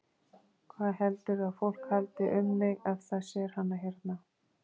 Hvað heldurðu að fólk haldi um mig ef það sér hana hérna?